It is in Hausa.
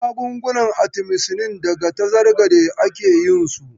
Magungunan Atimisinin daga tazargade ake yin su.